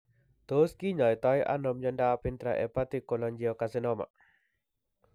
Tos kinyoitoi ano miondop intrahepatic cholangiocarcinoma